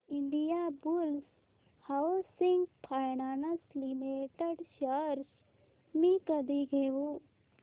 Indiabulls housing finance limited shares मी कधी घेऊ